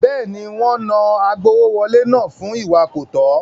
Bẹ́ẹ̀ni, wọ́n náà agbowówọlé náà fún ìwà kọ̀tọ́.